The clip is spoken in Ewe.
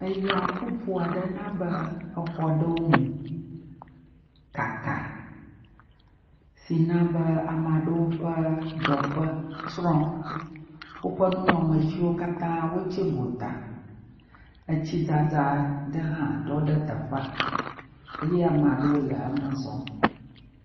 Eya ƒoƒo aɖewo na be exɔ ɖewo mu, kaka, si na be ame aɖewo ƒe teƒewo tsyrɔ̃Eƒe nunɔamesiwo katã wò tsi gota. Etsi dzadza ɖɔ ɖe teƒea eye ame aɖewo le eme zɔm.